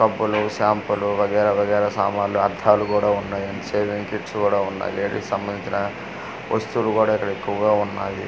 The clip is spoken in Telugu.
సబ్బులు షాంపు లు వగైరా-వగైరా సామాన్లు అద్దాలు కూడా ఉన్నాయి అండ్ సేవింగ్ కిట్స్ కూడా ఉన్నాయి లేడీస్ సంబంధించిన వస్తువులు కూడా ఇక్కడ ఎక్కువగా ఉన్నాయి.